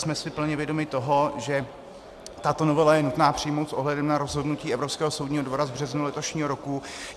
Jsme si plně vědomi toho, že tuto novelu je nutno přijmout s ohledem na rozhodnutí Evropského soudního dvora z března letošního roku.